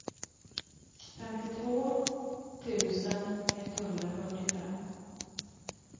femtiotvå tusen etthundrafyrtiofem